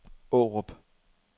Aarup